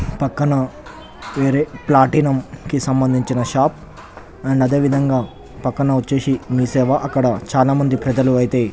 పక్కన వేరే ప్లాటినం కి సంభందించిన షాప్ అండ్ అధేవిధంగా పక్కన వచ్చేసి మీ సేవ అక్కడ చాల మంది ప్రజలు అయితే --